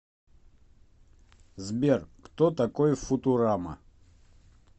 сбер кто такой футурама